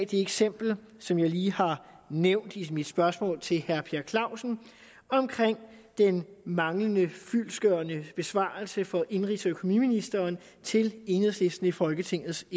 det eksempel som jeg lige har nævnt i mit spørgsmål til herre per clausen om den manglende fyldestgørende besvarelse fra indenrigs og økonomiministeren til enhedslisten i folketingets